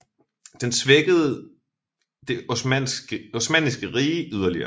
Den svækkede Det Osmanniske Rige yderligere